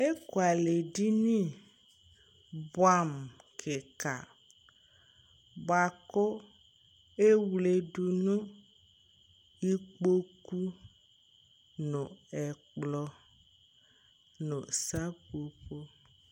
eku alɛ di ni boɛ amo keka boa ko ewle do no ikpoku no ɛkplɔ no seƒoƒo